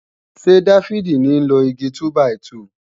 Ṣé Dáfídì ní ń lo Igi túbàìtuù